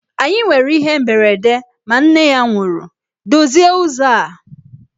Anyị nwere ihe mberede ma nne ya nwụrụ, dozie ụzọ a!